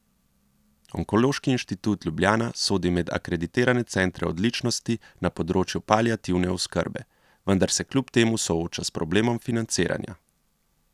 Onkološki inštitut Ljubljana sodi med akreditirane centre odličnosti na področju paliativne oskrbe, vendar se kljub temu sooča s problemom financiranja.